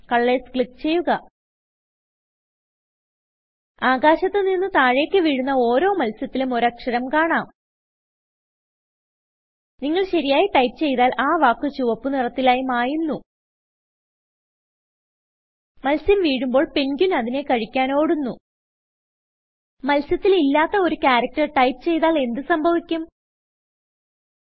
Colorsക്ലിക്ക് ചെയ്യുക ആകാശത്ത് നിന്ന് താഴേക്ക് വീഴുന്ന ഓരോ മത്സ്യത്തിലും ഒരു അക്ഷരം കാണാം നിങ്ങൾ ശരിയായി ടൈപ്പ് ചെയ്താൽ ആ വാക്ക് ചുവപ്പ് നിറത്തിലായി മായുന്നു മത്സ്യം വീഴുമ്പോൾ പെൻഗ്വിൻ അതിനെ കഴിക്കാൻ ഓടുന്നു മത്സ്യത്തിൽ ഇല്ലാത്തെ ഒരു characterടൈപ്പ് ചെയ്താൽ എന്ത് സംഭവിക്കും160